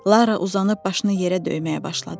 Lara uzanıb başını yerə döyməyə başladı.